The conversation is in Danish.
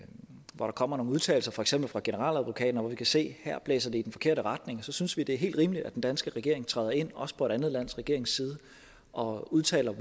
hvor der kommer nogen udtalelser for eksempel fra generaladvokaten og hvor vi kan se at her blæser det i den forkerte retning synes vi det er helt rimeligt at den danske regering træder ind også på et andet lands regerings side og udtaler